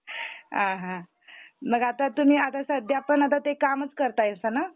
आ हा मग आता तुम्ही आता सध्या पण आता ते कामचं करतायसाना?